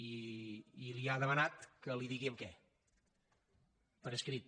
i li ha demanat que li digui en què per escrit